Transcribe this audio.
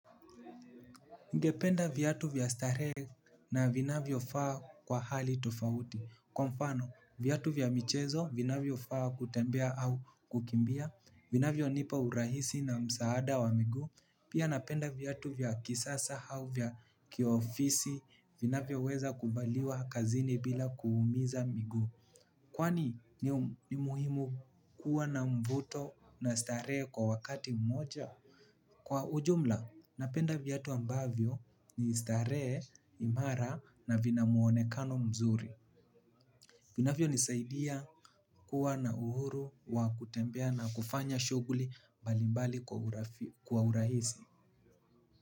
Ningependa viyatu vya stare na vinavyofaa kwa hali tofauti. Kwa mfano, viyatu vya michezo, vinavyo faa kutembea au kukimbia, vinavyo nipa urahisi na msaada wa migu. Pia napenda viyatu vya kisasa hau vya kiofisi, vinavyo weza kuvaliwa kazini bila kuumiza migu. Kwani ni muhimu kuwa na mvuto na stare kwa wakati mmoja? Kwa ujumla, napenda viyatu ambavyo ni stare imara na vina muonekano mzuri. Vinafyo nisaidia kuwa na uhuru wa kutembea na kufanya shuguli mbalimbali kwa uraizi.